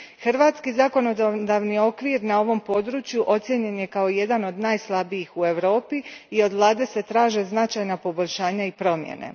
Hrvatski zakonodavni okvir na ovom području ocijenjen je kao jedan od najslabijih u Europi i od vlade se traže značajna poboljšanja i promjene.